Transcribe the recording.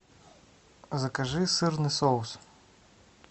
закажи сырный соус